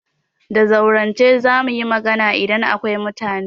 Da zaurance za mu yi magana idan akwai mutane.